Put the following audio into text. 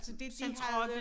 Altså det de havde